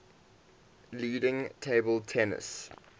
leading table tennis